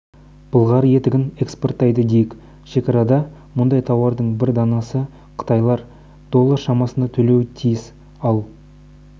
былғары етігін экспорттайды дейік шекарада мұндай тауардың бір данасына қытайлар доллар шамасында төлеуі тиіс ал